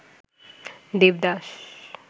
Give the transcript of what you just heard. Devdas